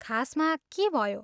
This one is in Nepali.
खासमा, के भयो?